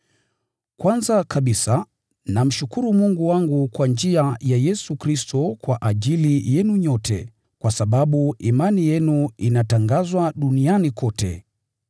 Kwanza kabisa, namshukuru Mungu wangu kwa njia ya Yesu Kristo kwa ajili yenu nyote, kwa sababu imani yenu inatangazwa duniani kote.